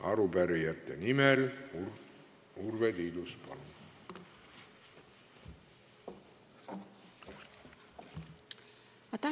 Arupärijate nimel Urve Tiidus, palun!